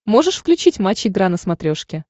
можешь включить матч игра на смотрешке